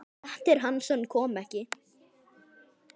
Grettir Hansson kom ekki.